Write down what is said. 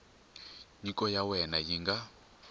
nyiko ya wena yi nga